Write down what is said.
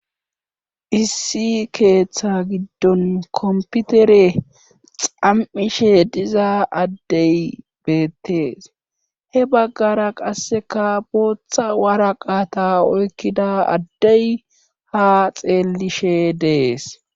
Issi keeththa giddon komputere xam7ishe diza addey beettees he baggara qasseka booththa wara qata oykkida addey ha xeellishe dees.